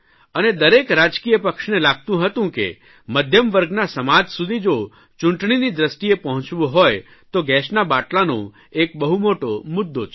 અને દરેક રાજકીય પક્ષને લાગતું હતું કે મધ્યમવર્ગના સમાજ સુધી જો ચૂંટણીની દ્રષ્ટિએ પહોંચવું હોય તો ગેસના બાટલાનો બહુ મોટો મુદ્દો છે